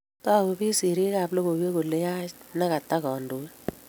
tagu piik sirik ab logoiywek kole yaach ne kata kandoik